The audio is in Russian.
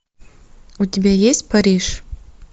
у тебя есть париж